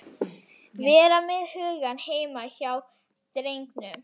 Vera með hugann heima hjá drengnum.